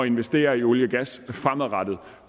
investere i olie og gas fremadrettet